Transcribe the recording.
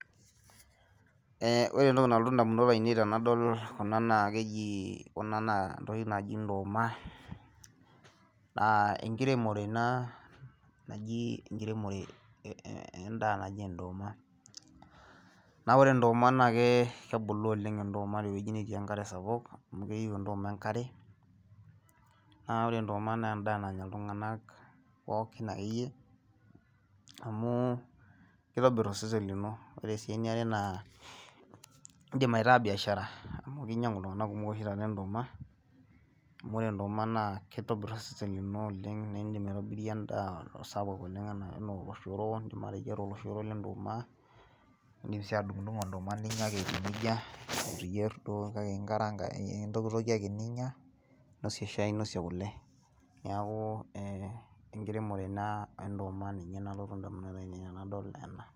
Ore entoki nalotu ndamunot aainei tenedol kuna keji naa enkiremore entoki naji ndoma ore kuna naakeji ndoma naa ore ndoma naa kebulu ndoma te wueji netii enkare sapuk amu keyieu ndoma enkare, naa ore ndoma naa endaa nanya iltung'ana pooki naa keitobirr osesen lino. Ore sii eniare naa indim aitaa biaashara amu keinyang'u iltung'ana kumok ndoma amu ore ndoma naa keitobirr osesen lino naa indim aaitobirie endaa sapuk oleng anaa oloshoro le ndoma, ndim sii atudung'udung'o ninyia ake ndoma eyia neija kake ntokitokie ake ninya ninosie shai ninosie kule. Neeku enkiremore e ndoma nalotu ndamunot aainei tenedol ena.